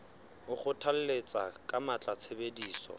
o kgothalletsa ka matla tshebediso